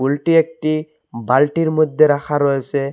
ফুলটি একটি বালটির মধ্যে রাখা রয়েসে।